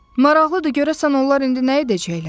Maraqlıdır, görəsən onlar indi nə edəcəklər?